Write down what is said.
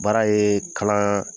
Baara ye kalan